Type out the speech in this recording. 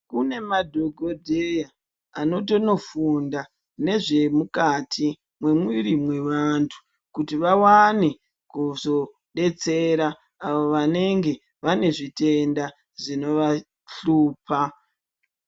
Kune madhokodheya anotoenda kofunda nezvemukati memuiri mevantu kuti vawane kuzodetsera vanenge vane zvitenda zvino vahlupa.